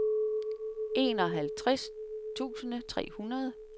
enoghalvtreds tusind tre hundrede